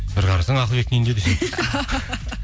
бір қарасаң ақылбектің үйінде